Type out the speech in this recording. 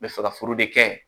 N bɛ fɛ ka furu de kɛ